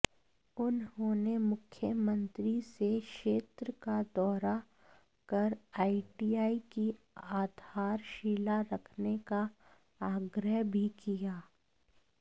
उन्होंने मुख्यमंत्री से क्षेत्र का दौरा कर आईटीआई की आधारशिला रखने का आग्रह भी किया